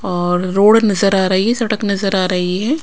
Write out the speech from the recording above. और रोड नज़र आ रही है सड़क नजर आ रही है।